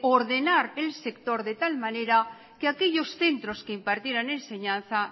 ordenar el sector de tal manera que aquellos centros que impartieran enseñanza